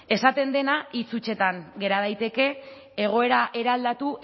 esaten dena hitz hutsetan gera daiteke egoera eraldatu